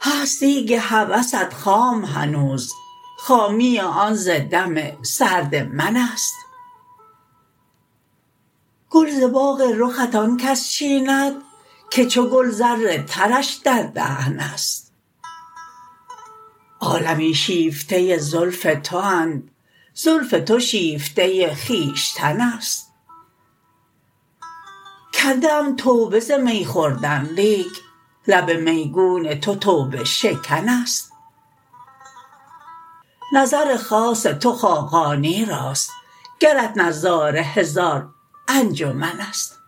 هست دیگ هوست خام هنوز خامی آن ز دم سرد من است گل ز باغ رخت آن کس چیند که چو گل زر ترش در دهن است عالمی شیفته زلف تواند زلف تو شیفته خویشتن است کرده ام توبه ز می خوردن لیک لب میگون تو توبه شکن است نظر خاص تو خاقانی راست گرت نظاره هزار انجمن است